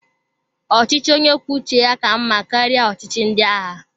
Ọchịchị onye kwuo uche ya ka mmá karịa ọchịchị ndị agha.